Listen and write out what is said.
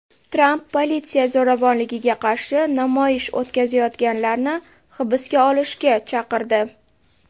Tramp politsiya zo‘ravonligiga qarshi namoyish o‘tkazayotganlarni hibsga olishga chaqirdi.